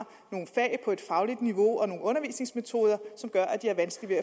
nogle fag på et fagligt niveau og nogle undervisningsmetoder som gør at de har vanskeligt